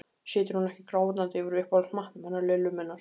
Situr hún ekki grátandi yfir uppáhaldsmatnum hennar Lillu minnar